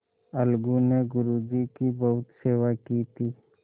अलगू ने गुरु जी की बहुत सेवा की थी